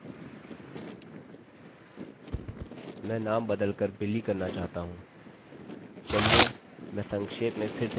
मैं नामname बदल कर billy करना चाहता हूँ